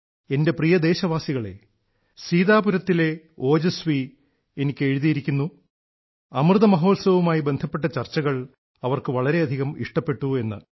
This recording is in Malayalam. എന്റെ പ്രിയ ദേശവാസികളേ സീതാപുരത്തിലെ ഓജസ്വി എനിക്ക് എഴുതിയിരിക്കുന്നു അമൃതമഹോത്സവവുമായി ബന്ധപ്പെട്ട ചർച്ചകൾ അവർക്ക് വളരെയധികം ഇഷ്ടപ്പെട്ടുവെന്ന്